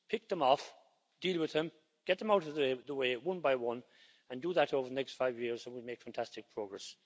Pick them off, deal with them, get them out of the way one by one and do that over the next five years and we'll make fantastic progress.